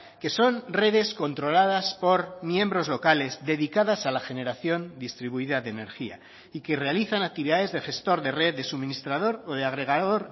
que son redes controladas por miembros locales dedicadas a la generación distribuida de energía y que realizan actividades de gestor de red de suministrador o de agregador